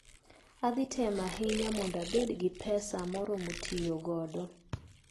Adhi temo ahinya mondo abed gi pesa moromo tiyo godo.